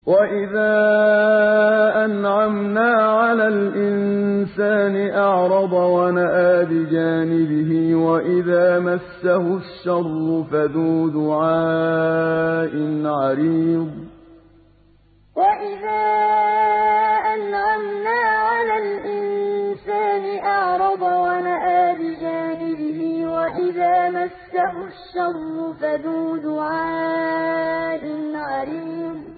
وَإِذَا أَنْعَمْنَا عَلَى الْإِنسَانِ أَعْرَضَ وَنَأَىٰ بِجَانِبِهِ وَإِذَا مَسَّهُ الشَّرُّ فَذُو دُعَاءٍ عَرِيضٍ وَإِذَا أَنْعَمْنَا عَلَى الْإِنسَانِ أَعْرَضَ وَنَأَىٰ بِجَانِبِهِ وَإِذَا مَسَّهُ الشَّرُّ فَذُو دُعَاءٍ عَرِيضٍ